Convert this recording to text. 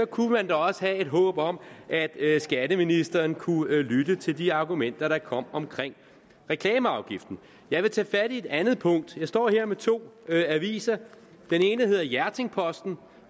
kunne man da også have et håb om at skatteministeren kunne lytte til de argumenter der kom omkring reklameafgiften jeg vil tage fat i et andet punkt jeg står her med to aviser den ene hedder hjerting posten